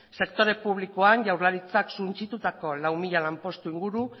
sektore publikoan jaurlaritzak suntsitutako lau mila lanpostu inguru